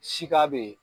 Sika be ye